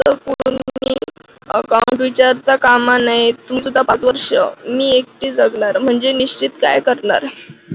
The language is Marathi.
account विसरता कामा नये मी सुद्धा पाच वर्षं एकटी जगणार म्हणजे निश्चित काय करणार